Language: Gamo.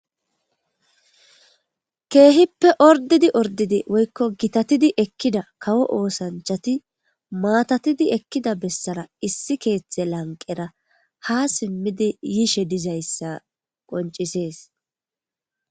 keehippe ordidi ordidi woykko gitatidi ekkida kawo oosanchati maatatidi ekkida bessara issi keeththe lanqera ha simmidi yiishe dizayssa qoncisees